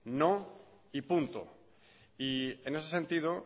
no y punto y en ese sentido